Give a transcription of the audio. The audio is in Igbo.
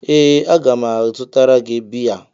Ee a ga m azụtara gị biya.